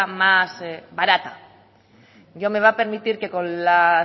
más barata yo me va a permitir que con los